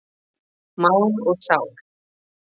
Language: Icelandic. Mál og sál.